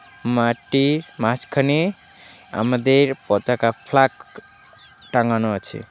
মাঠটির মাঝখানে আমাদের পতাকা ফ্ল্যাগ টাঙ্গানো আছে.